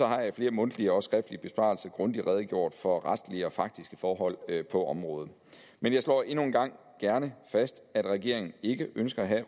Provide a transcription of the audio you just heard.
har jeg i flere mundtlige og skriftlige besvarelser grundigt redegjort for retlige og faktiske forhold på området men jeg slår endnu en gang gerne fast at regeringen ikke ønsker at